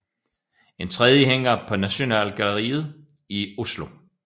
En tredje hænger på Nasjonalgalleriet i Oslo